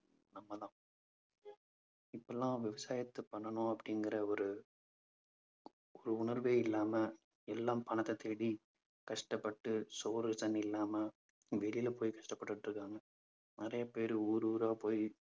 இப்பெல்லாம் விவசாயத்தை பண்ணணும் அப்படிங்கிற ஒரு ஒரு உணர்வே இல்லாம எல்லாம் பணத்தை தேடி கஷ்டப்பட்டு சோறு தண்ணி இல்லாம வெளியில போய் கஷ்டப்பட்டிட்டிருக்காங்க. நிறைய பேர் ஊர் ஊரா போய்